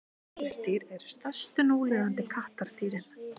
tígrisdýr eru stærstu núlifandi kattardýrin